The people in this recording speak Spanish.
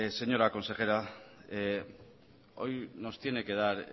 señora consejera hoy nos tiene que dar